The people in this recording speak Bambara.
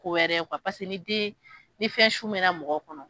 Kowɛrɛ ye kuwa pase n'i den ni fɛn su mɛna mɔgɔ kɔnɔ